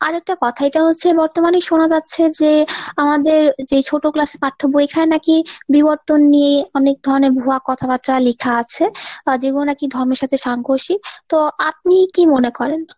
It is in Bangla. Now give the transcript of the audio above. আরেকটা কথা এটা হচ্ছে বর্তমানে সোনা যাচ্ছে যে আমাদের যে ছোট class এ পাঠ্যবই এখানে নাকি বিবর্তন নিয়ে অনেক ধরণের ভুয়া কথাবার্তা লিখা আছে যেগুলো নাকি ধর্মের সাথে সাংঘর্ষিক, তো আপনি কি মনে করেন?